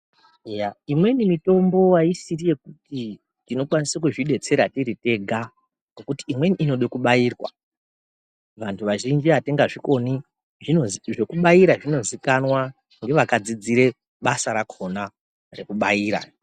Eya imweni mitombo haisiri yekuti tinokwanisa kuzvibetsera tiri tega ngekuti imweni inode kubairwa. Vantu vazhinji hatinga zvikoni zvokubaira zvinozikanwa ngevakadzidzire basa rakona rekubaira.